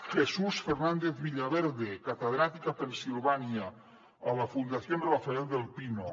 jesús fernández villaverde catedràtic a pennsilvània a la fundación rafael del pino